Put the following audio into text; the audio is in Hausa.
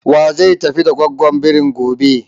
Za a tafi da gwaggwon birin gobe ne?